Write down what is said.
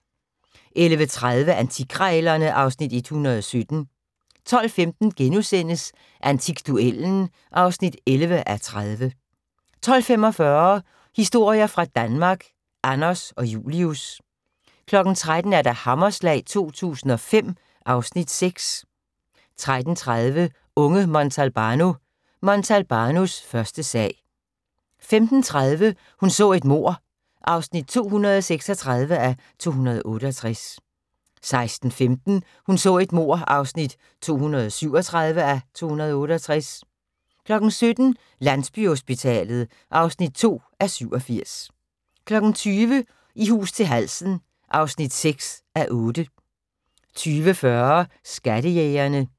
11:30: Antikkrejlerne (Afs. 117) 12:15: Antikduellen (11:30)* 12:45: Historier fra Danmark – Anders og Julius 13:00: Hammerslag 2005 (Afs. 6) 13:30: Unge Montalbano: Montalbanos første sag 15:30: Hun så et mord (236:268) 16:15: Hun så et mord (237:268) 17:00: Landsbyhospitalet (2:87) 20:00: I hus til halsen (6:8) 20:40: Skattejægerne